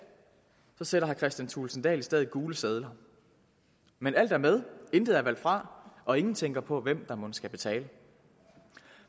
sætter kristian thulesen dahl i stedet gule sedler men alt er med intet er valgt fra og ingen tænker på hvem der mon skal betale